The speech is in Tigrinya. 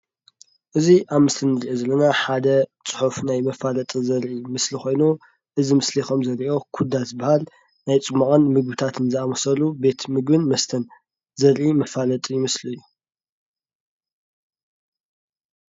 እዚ ኣብ ምስሊ እንሪኦ ዘለና ሓደ ፅሑፍ ናይ መፋለጢ ዘርኢ ምስሊ ኾይኑ እዚ ምስሊ ከም እንሪኦ ኩዳ ዝብሃል ናይ ፅሟቕን ምግብታትን ዝኣመሰሉ ቤት ምግብን መስተን ዘርኢ መፋለጢ ምስሊ እዩ።